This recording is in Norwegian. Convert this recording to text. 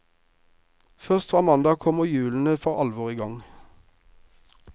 Først fra mandag kommer hjulene for alvor i gang.